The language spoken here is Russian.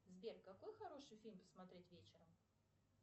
сбер какой хороший фильм посмотреть вечером